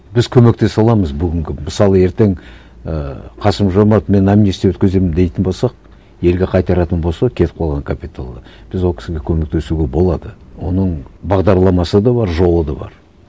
біз көмектесе аламыз бүгінгі мысалы ертең ііі қасым жомарт мен амнистия өткіземін дейтін болса елге қайтаратын болса кетіп қалған капиталды біз ол кісіге көмектесуге болады оның бағдарламасы да бар жолы да бар